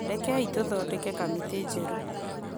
rekei tũthondeke kamĩtĩ njerũ